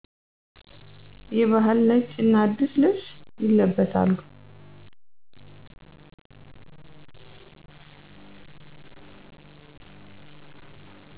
የበህል; ነጭ እና አዲስ ልብስ ይለብሣሉ።